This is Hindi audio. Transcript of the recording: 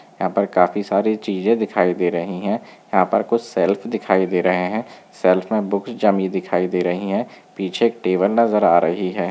यहाँ पर काफी सारी चीजे दिखाई दे रही है यहाँ पर कुछ सेल्फ दिखाई दे रहे हैं सेल्फ में बुक जमीन दिखाई दे रही हैं पीछे एक टेबल नज़र आ रही है।